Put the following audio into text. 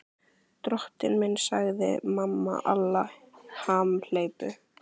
Drottinn minn, sagði mamma Alla hamhleypu.